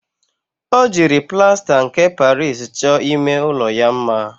O jiri plasta nke Paris cho ime ulo ya mma.